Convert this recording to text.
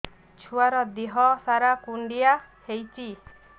ଛୁଆର୍ ଦିହ ସାରା କୁଣ୍ଡିଆ ହେଇଚି